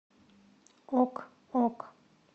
ок ок